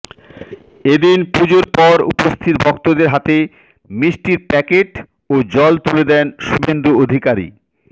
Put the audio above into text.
এদিন পুজোর পর উপস্থিত ভক্তদের হাতে মিষ্টির প্যাকেট ও জল তুলে দেন শুভেন্দু অধিকারী